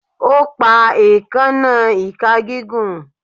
O pa eekanna ika gigun